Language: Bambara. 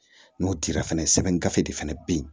N'o dira fɛnɛ sɛbɛn gafe de fana bɛ yen